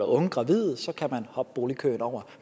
unge gravide så kan hoppe boligkøen over